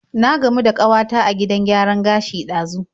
Na gamu da kawata a gidan gyaran gashi ɗazu.